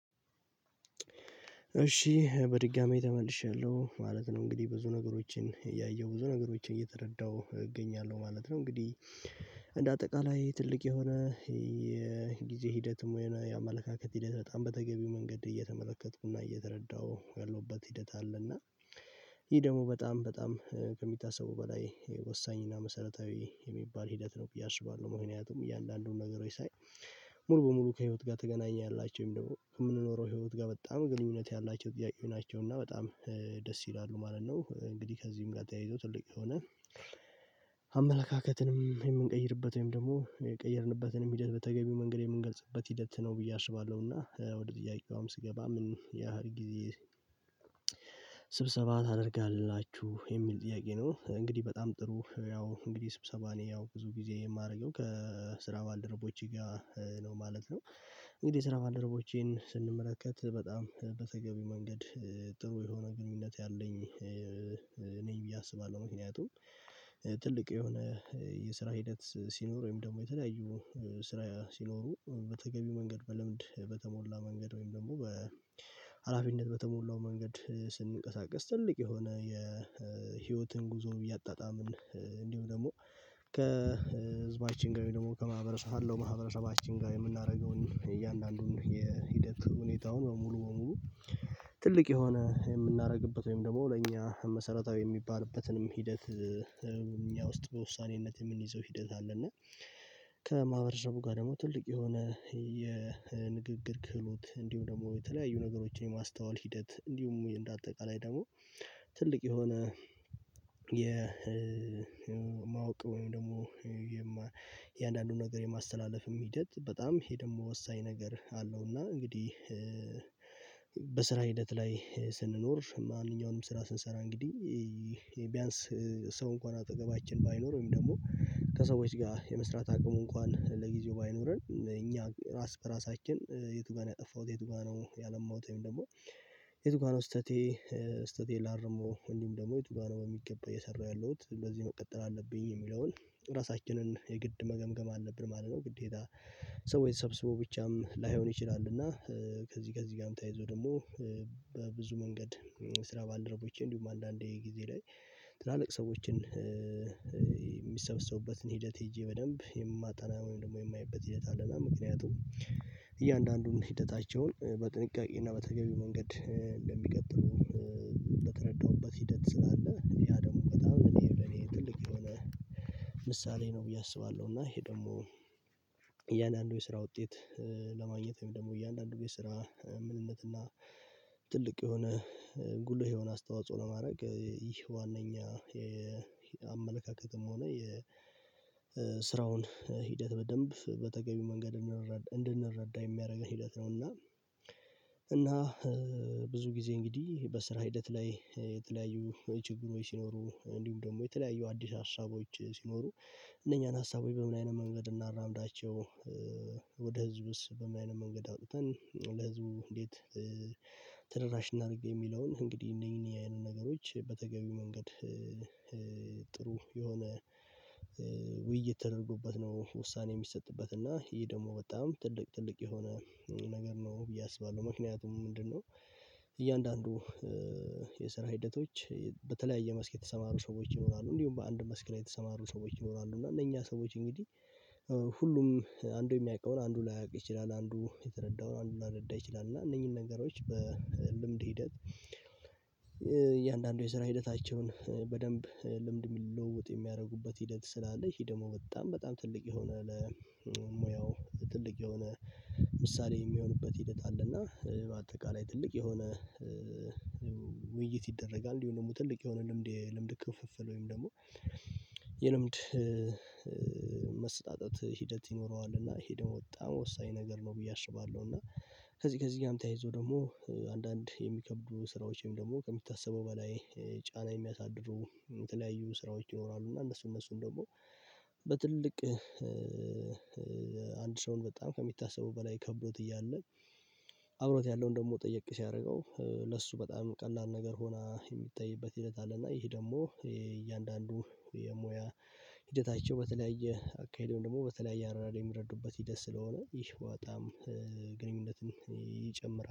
እሺ በድጋሚ ተመልሻለሁ ማለት ነው እንግዲህ ብዙ ነገሮችን እያየው ብዙ ነገሮችን እየተረዳሁ እገኛለሁ ማለት ነው። እንግዲህ እንደ አጠቃላይ ትልቅ የሆነ የጊዜ ሂደትም የሆነ የአመለካከት ሂደት በጣም በተገቢው መንገድ እየተመለከቱና እየተረዳው ያለውበት ሂደት አለና። ይሄ ደግሞ በጣም በጣም ከሚታሰበው በላይ ወሳኝና መሰረታዊ የሚባል ሂደት ነው ብዬ አስባለሁ። ምክንያቱም እየአንዳንዱን ነገሮች ሳይ ሙሉ በሙሉ ከህይወት ጋር ትገናኛላችሁ ወይም ደግሞ የምንኖረው ህይወት ጋር በጣም ግንኙነት ያላቸው ጥያቄው ናቸው እና በጣም ደስ ይላሉ ማለት ነው። እንግዲህ ከዚህም ጋር ተያይዞ ትልቅ የሆነ አመለካከትንም የምንቀይርበት ወይም ደግሞ የቀየርንበትንም ሂደት በተገቢው መንገድ የምንገልጽበት ሂደት ነው። ብዬ አስባለሁና ወደ ጥያቄዋም ስገባ ምን ያህል ጊዜ ስብሰባ ታደርጋላችሁ የሚል ጥያቄ ነው? እንግዲህ በጣም ጥሩ ያው እንግዲህ ስብሰባ እኔ ያው ብዙ ጊዜ የማደርገው ከስራ ባልደረቦቼ ጋር ነው ማለት ነው። እንግዲህ የስራ ባደረቦቼን ስንመለከት በጣም በተገቢ መንገድ ጥሩ የሆነ ግንኙነት ያለኝ ነኝ ብዬ አስባለሁ። ምክንያቱም ትልቅ የሆነ የስራ ሂደት ሲኖር ወይም ደግሞ የተለያዩ ስራ ሲኖሩ በተገቢው መንገድ በልምድ በተሞላ መንገድ ወይም ደግሞ በሃላፊነት በተሞላው መንገድ ስንንቀሳቀስ ትልቅ የሆነ የህይወትን ጉዞን እያጣጣምን እንዲሁ ደግሞ ከህዝባችን ጋር ደግሞ ከማህበረሰብ ካለው ማህበረሰባችን ጋር የምናደርገውን እያንዳንዱን የሂደት ሁኔታውን በሙሉ በሙሉ ትልቅ የሆነ የምናደርግበት ወይም ደግሞ ለእኛ መሰረታዊ የሚባልበትንም ሂደት ውስጥ በውሳኔነት የምንይዘው ሂደት አለ። እና ከማህበረሰቡ ጋር ደግሞ ትልቅ የሆነ የንግግር ክህሎት እንዲሁ ደግሞ የተለያዩ ነገሮችን የማስተዋል ሂደት እንዲሁም እንደ አጠቃላይ ደግሞ ትልቅ የሆነ የማወቅ ወይም ደግሞ የእያንዳንዱን ነገር የማስተላለፍም ሂደት በጣም ይሄ ደግሞ ወሳኝ ነገር አለው። እና እንግዲህ በስራ ሂደት ላይ ስንኖር ማንኛውንም ስራ ስንሰራ እንግዲህ ይሄ ቢያንስ ሰው እንኳን አጠገባችን ባይኖር ወይም ደግሞ ከሰዎች ጋር የመስራት አቅሙ እንኳን ለጊዜው ባይኖረን እኛ ራስ በራሳችን የቱ ጋር ነው ያጠፋሁት የቱ ጋር ነው ያለማሁትወይም ደግሞ የቱ ጋር ነው ስህተቴ ስህተቴ ላርመው እንዲሁም ደግሞ የቱ ጋር ነው በሚገባ እየሰራው ያለው እንደዚሁ መቀጠል አለብኝ የሚለውን ራሳችንን የግድ መገምገም አለብን ማለት ነው። ግዴታ ሰዎች ተሰብስበው ብቻም ላይሆን ይችላል። እና ከዚህ ከዚህ ጋርም ተያይዞ ደግሞ በብዙ መንገድ ስራ ባልደረቦችን እንዲሁም አንዳንዴ ጊዜ ላይ ትላልቅ ሰዎችን የሚሰበሰቡበትን ሂደት ሄጄ በደንብ የማጠና ወይም ደግሞ የማይበት ሂደት አለና ምክንያቱም እያንዳንዱን ሂደታቸውን በጥንቃቄ እና በተገቢ መንገድ እንደሚቀጥሉ በተረዳሁበት ሂደት ስላለ ያ ደግሞ በጣም እኔ ለኔ ትልቅ የሆነ ምሳሌ ነው ብዬ አስባለሁ። እና ይሄ ደግሞ እያንዳንዱ የስራ ውጤት ለማግኘት ወይም ደግሞ እያንዳንዱ የስራ ምንነትና ትልቅ የሆነ ጉልህ የሆነ አስተዋጽኦ ለማድረግ ይህ ዋነኛ የአመለካከትም ሆነ የስራውን ሂደት በደንብ በተገቢው መንገድ እንድንረዳ የሚያደርገን ሂደት ነው። እና እና ብዙ ጊዜ እንግዲህ በስራ ሂደት ላይ የተለያዩ ችግሮች ሲኖሩ እንዲሁም ደግሞ የተለያዩ አዲስ ሀሳቦች ሲኖሩ እነኛን ሀሳቦች በምን አይነት መንገድ እናራምዳቸው ወደ ህዝብስ በምን አይነት መንገድ አውጥተን ለህዝቡ እንዴት ተደራሽ እናድርግ? የሚለውን እንግዲህ እነዚህ የአይነት ነገሮች በተገቢው መንገድ ጥሩ የሆነ ውይይት ተደርጎበት ነው ውሳኔ የሚሰጥበት እና ይሄ ደግሞ በጣም ትልቅ ትልቅ የሆነ ነገር ነው ብዬ አስባለሁ። ምክንያቱም ምንድነው? እያንዳንዱ የሰራ ሂደቶች በተለያየ መስክ የተሰማሩ ሰዎች ይኖራሉ እንዲሁም በአንድ መስክ ላይ የተሰማሩ ሰዎች ይኖራሉ እና እነኛ ሰዎች እንግዲህ ሁሉም አንዱ የሚያውቀውን አንዱ ላያውቅ ይችላል አንዱ የተረዳውን አንዱ ላይረዳ ይችላል። እና እነኚህን ነገሮች በልምድ ሂደት እያንዳንዱ የስራ ሂደታቸውን በደንብ ልምድ ልውውጥ የሚያደርጉበት ሂደት ስላለ ይሄ ደግሞ በጣም በጣም ትልቅ የሆነ ለሙያው ትልቅ የሆነ ምሳሌ የሚሆንበት ሂደት አለና በአጠቃላይ ትልቅ የሆነ ውይይት ይደረጋል እንዲሁ ደግሞ ትልቅ የሆነ ልምድ የልምድ ክፍፍል ወይም ደግሞ የልምድ መሰጣጠት ሂደት ይኖረዋል። እና ይሄ ደግሞ በጣም ወሳኝ ነገር ነው ብዬ አሽባለሁ። እና ከዚህ ከዚህ ጋርም ተያይዘው ደግሞ አንዳንድ የሚከብዱ ስራዎች ወይም ደግሞ ከሚታሰበው በላይ ጫና የሚያሳድሩ የተለያዩ ስራዎች ይኖራሉ። እና እነሱ እነሱን ደግሞ በትልቅ አንድ ሰውን በጣም ከሚታሰበው በላይ ከብዶት እያለ አብሮት ያለውን ደግሞ ጠየቅ ሲያደርገው ለሱ በጣም ቀላል ነገር ሆና የሚታይበት ሂደት አለና ይህ ደግሞ እያንዳንዱ የሙያ ሂደታቸው በተለያየ አካሄዱን ደግሞ በተለያየ አረዳድ የሚረዱበት ሂደት ስለሆነ ይህ በጣም ግንኙነትን ይጨምራል